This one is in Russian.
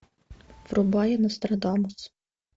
врубай нострадамус